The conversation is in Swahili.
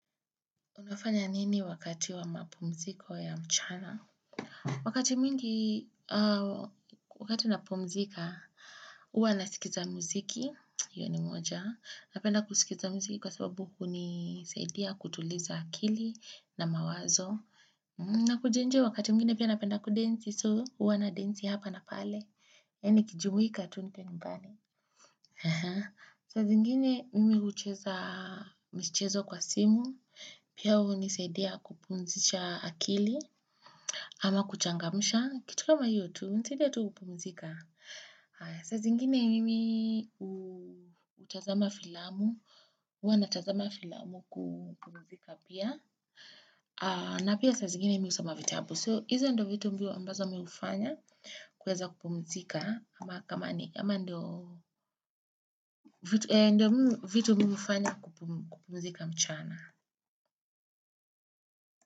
Unafanya nini wakati wa mapumziko ya mchana? Wakati mingi wakati napumzika, uwa nasikiza muziki. Iyo ni moja. Napenda kusikiza muziki kwa sababu hunisaidia kutuliza akili na mawazo. Na kujienjoy wakati mwingine pia napenda kudensi. So uwa nadensi hapa na pale. Yaani kijumuika tu nikiwa nyumbani. Saa zingine mimi hucheza michezo kwa simu. Pia hunisaidia kupumzisha akili ama kuchangamsha. Kitu kama hio tu, unisaidia tu kupumzika? Saa zingine mimi utazama filamu, uwa natazama filamu kupumzika pia. Na pia saa zingine mi usoma vitabu. So, hizo ndo vitu mbio ambazo mi ufanya kueza kupumzika. Ama kama ni, ama ndo ndo vitu mi ufanya kupumzika mchana.